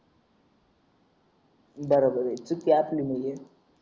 बरोबर आहे चुकी आपली नाय हे